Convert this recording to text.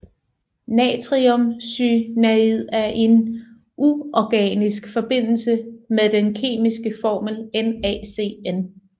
Natriumcynaid er en uorganisk forbindelse med den kemiske formel NaCN